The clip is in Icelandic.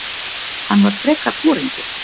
Hann var frekar foringinn.